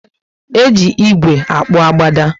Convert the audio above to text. Eji ígwè akpu agbada